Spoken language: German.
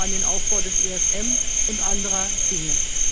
Ich denke nur an den Aufbau des ESM und andere Dinge.